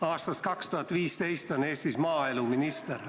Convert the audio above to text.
Aastast 2015 on Eestis maaeluminister.